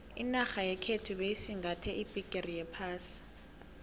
inarha yekhethu beyisingathe iphegere yephasi